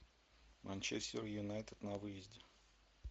манчестер юнайтед на выезде